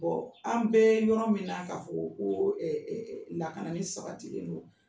an bɛ yɔrɔ min na, ka fɔ ko ko lakana ni sabatilen don,